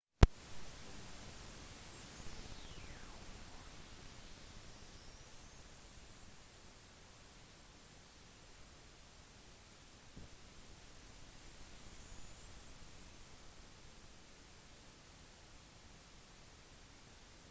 tommy dreamer uttalte at «luna var den første dronningen av ekstrem. min første sjef. luna døde på natten av to måner. ganske unikt akkurat som henne. sterk kvinne»